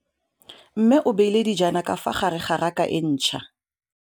Mmê o beile dijana ka fa gare ga raka e ntšha.